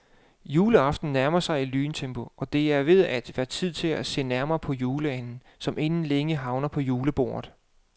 Juleaften nærmer sig i lyntempo, og det er ved at være tid til at se nærmere på juleanden, som inden længe havner på julebordet.